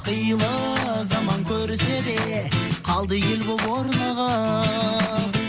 қилы заман көрсе де қалды ел болып орнығып